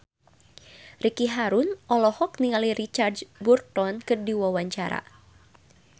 Ricky Harun olohok ningali Richard Burton keur diwawancara